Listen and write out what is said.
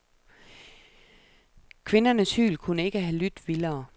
Kvindernes hyl kunne ikke have lydt vildere.